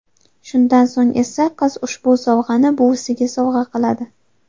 Shundan so‘ng esa qiz ushbu sovg‘ani buvisiga sovg‘a qiladi.